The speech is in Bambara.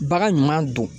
Bagan ɲuman don